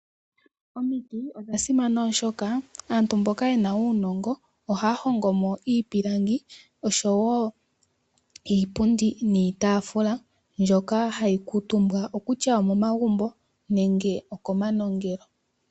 Omiti odha simana oshoka aantu mboka yena uunongo ohaya hongomo iipilangi sho wo iipundi niitafula mbyoka hayi kamutumbwa okutua omomagumbo nenge okomanongelo.